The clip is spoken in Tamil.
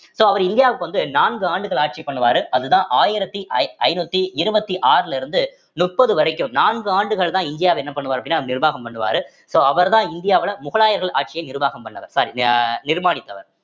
so அவர் இந்தியாவுக்கு வந்து நான்கு ஆண்டுகள் ஆட்சி பண்ணுவாரு அதுதான் ஆயிரத்தி ஐ~ ஐந்நூத்தி இருவத்தி ஆறுல இருந்து முப்பது வரைக்கும் நான்கு ஆண்டுகள்தான் இந்தியாவ என்ன பண்ணுவார் அப்படின்னா நிர்வாகம் பண்ணுவாரு so அவர்தான் இந்தியாவுல முகலாயர்கள் ஆட்சியை நிர்வாகம் பண்ணவர் sorry அஹ் நிர்மாணித்தவர்